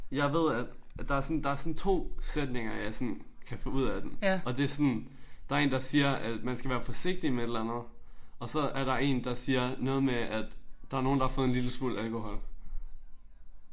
Jeg ved at der er sådan der er sådan 2 sætninger jeg sådan kan få ud af den. Og det er sådan der er en der siger man skal være forsigtig med et eller andet og så er der en der siger noget med at der er nogen der har fået en lille smule alkohol